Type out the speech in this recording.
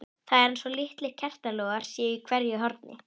Það er eins og litlir kertalogar séu í hverju horni.